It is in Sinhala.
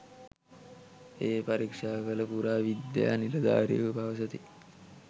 එය පරීක්ෂා කළ පුරාවිද්‍යා නිලධාරීහු පවසති.